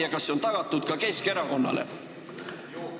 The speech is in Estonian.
Ja kas see on tagatud ka Keskerakonnale?